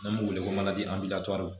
N'an b'u wele ko manje